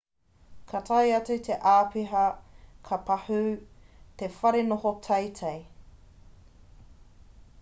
ka tae atu te āpiha ka pahū te whare noho teitei